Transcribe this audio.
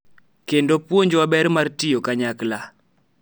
Kendo puonjwa ber mar tiyo kanyakla.